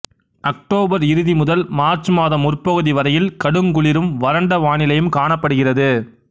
October இறுதி முதல் March மாதம் முற்பகுதி வரையில் கடுங்குளிரும் வறண்ட வானிலையும் காணப்படுகிறது